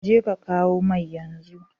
Jeka kawo mai yanzu!